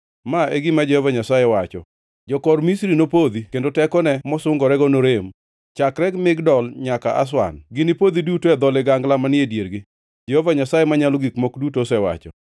“ ‘Ma e gima Jehova Nyasaye wacho: “ ‘Jokor Misri nopodhi kendo tekone mosungorego norem. Chakre Migdol nyaka Aswan Ginipodhi duto e dho ligangla manie diergi, Jehova Nyasaye Manyalo Gik Moko Duto osewacho.